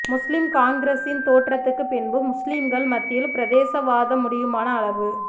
முஸ்லிம் காங்கிரசின் தோற்றத்துக்கு பின்பு முஸ்லிம்கள் மத்தியில் பிரதேசவாதம் முடியுமான அளவு